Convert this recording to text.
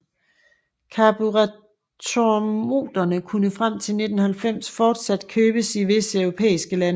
Karburatormotorer kunne frem til 1990 fortsat købes i visse europæiske lande